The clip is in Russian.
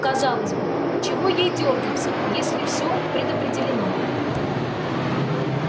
казалось бы чего ей дёргаться если все предопределено